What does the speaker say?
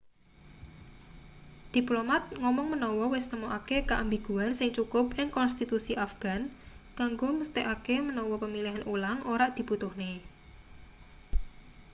diplomat ngomong menawa wis nemokake keambiguan sing cukup ing konstitusi afghan kanggo mesthekake menawa pemilihan ulang ora dibutuhne